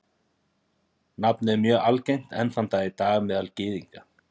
Nafnið er mjög algengt enn þann dag í dag meðal Gyðinga.